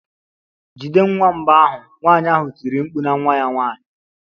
Jide nwamba ahụ!nwanyị ahụ tiri mkpu na nwa ya nwanyị.